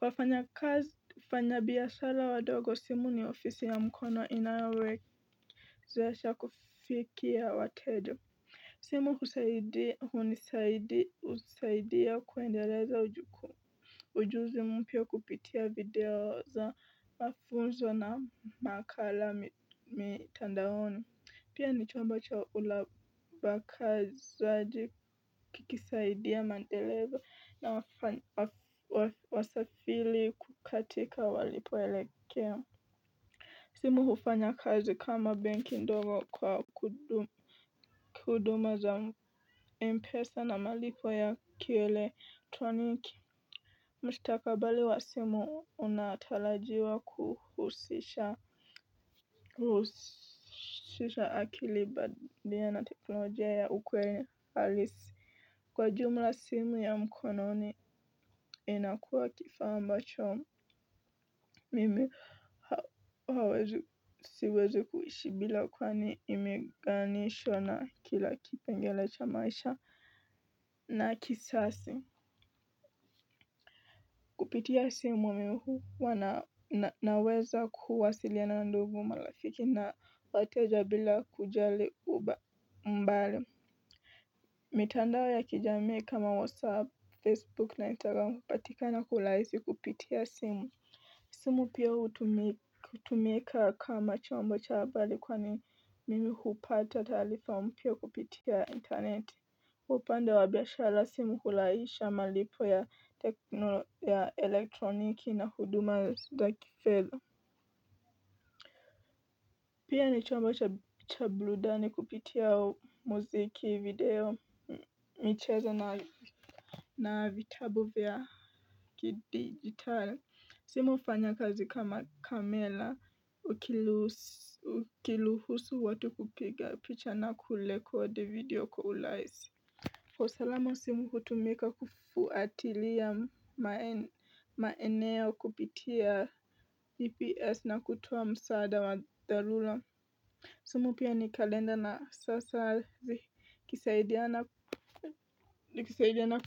wafanya kazi, ufanya biya sala wadogo, simu ni ofisi ya mkono inayo wawezesha kufikia wateja. Simu husaidia hunisaidia husaidia kuendeleza ujuk. Ujuzi mpya kupitia video za mafunzo na makala mitandaoni. Pia ni chomba cha ulaba kazi zaaji kikisaidia madereva na wasafili kukatika walipoelekea. Simu hufanya kazi kama banki ndogo kwa kuduma za mpesa na malipo ya kieletroniki. Mstakabali wa simu, unatalajiwa kuhusisha akili badia na teknolojia ya ukweli alisi. Kwa jumla simu ya mkononi, inakua kifaa ambacho mimi hawezi siwezi kuishi bila kwani imeganisho na kila kipengele cha maisha na kisasi. Kupitia simu wa mimi huwa naweza kuwasiliana ndugu malafiki na watia jabila kujali mbali. Mitandao wa ya kijamii kama WhatsApp, Facebook na Instagram hupatika na kulaisi kupitia simu. Simu pia utumeka kama chombo cha habari kwani mimi hupata taarifa mpya kupitia interneti upande wabiashala simu hulaisha malipo ya techno ya elektroniki na huduma ya za kifedha. Pia ni chomba cha buludani kupitia muziki, video, micheza na vitabu vya hiki digitali. Simu ufanya kazi kama kamela ukiluhusu watu kupiga, picha na kulekodi video kwa ulaizi. Usalama simu kutumika kufuatilia maeneo kupitia EPS na kutuwo msaada wa dhalula. Simu pia ni kalenda na sasa zi kisaidiana ku.